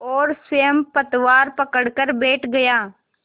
और स्वयं पतवार पकड़कर बैठ गया